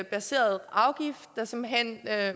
baseret afgift der simpelt hen